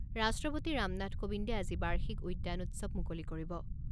ৰাষ্ট্ৰপতি ৰামনাথ কোবিন্দে আজি বাৰ্ষিক উদ্যান উৎসৱ মুকলি কৰিব।